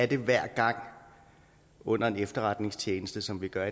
det hver gang under en efterretningstjeneste som vi gør